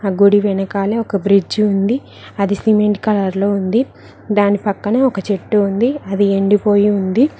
గుడి వెనకాలే ఒక బ్రిడ్జి ఉంది అది సిమెంట్ కలర్ లో ఉంది దాని పక్కనే ఒక చెట్టు ఉంది అది ఎండిపోయి ఉంది.